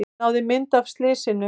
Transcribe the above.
Náði mynd af slysinu